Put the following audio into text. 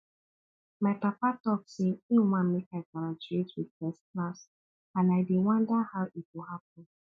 my papa talk say he wan make i graduate with first class and i dey wonder how e go happen